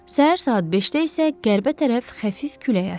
Səhər saat 5-də isə qərbə tərəf xəfif külək əsdi.